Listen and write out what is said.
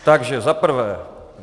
Takže za prvé.